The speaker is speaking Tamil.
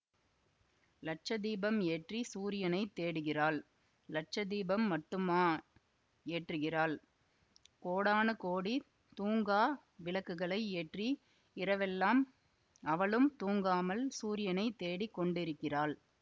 லட்சதீபம் ஏற்றி சூரியனைத் தேடுகிறாள் லட்ச தீபம் மட்டுமா ஏற்றுகிறாள் கோடான கோடி தூங்கா விளக்குகளை ஏற்றி இரவெல்லாம் அவளும் தூங்காமல் சூரியனைத் தேடிக் கொண்டிருக்கிறாள்